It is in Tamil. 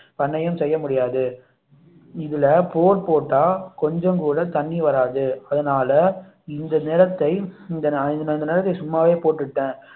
பண்ணையம் செய்ய முடியாது இதுல போர் போட்டா கொஞ்சம் கூட தண்ணி வராது அதனால இந்த நிலத்தை நான் இந்த நிலத்தை சும்மாவே போட்டுட்டேன்